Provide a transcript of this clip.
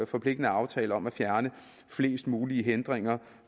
forpligtende aftale om at fjerne flest muligt hindringer